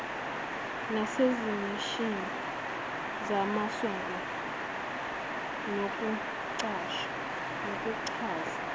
nasezimishini zamasonto nokuchaza